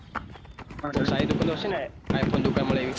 કોઈ સારી દુકાન તો હશે ને i phone મળે ઈવી